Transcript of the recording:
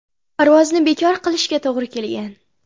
Parvozni bekor qilishga to‘g‘ri kelgan.